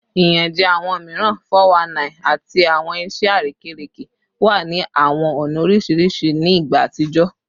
Iyanjẹ awọn miiran (419) ati awọn iṣẹ arekereke wa ni awọn ọna oriṣiriṣi ni igba atijọ